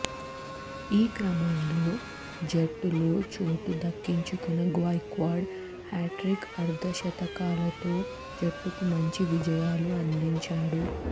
ఈ క్రమంలో జట్టులో చోటు దక్కించుకున్న గైక్వాడ్ హ్యట్రిక్ అర్ధశతకాలతో జట్టుకు మంచి విజయాలు అందించాడు